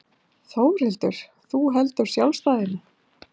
Þórhildur: Þú heldur sjálfstæðinu?